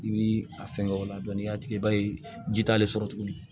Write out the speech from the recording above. I bi a fɛngɛ o la dɔnku n'i y'a tigi ba ye ji t'ale sɔrɔ tuguni